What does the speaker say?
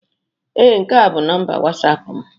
Ee, nke a bụ nọmba Wọsapụ m